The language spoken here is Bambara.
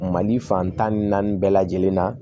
Mali fan tan ni naani bɛɛ lajɛlen na